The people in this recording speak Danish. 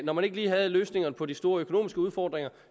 når man ikke lige havde løsningerne på de store økonomiske udfordringer